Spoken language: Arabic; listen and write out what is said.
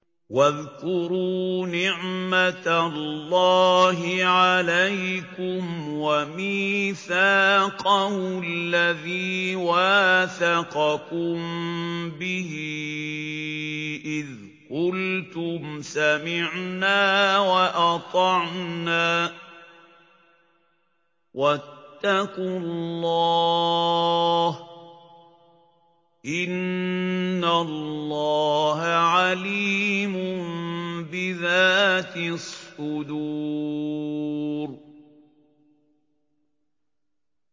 وَاذْكُرُوا نِعْمَةَ اللَّهِ عَلَيْكُمْ وَمِيثَاقَهُ الَّذِي وَاثَقَكُم بِهِ إِذْ قُلْتُمْ سَمِعْنَا وَأَطَعْنَا ۖ وَاتَّقُوا اللَّهَ ۚ إِنَّ اللَّهَ عَلِيمٌ بِذَاتِ الصُّدُورِ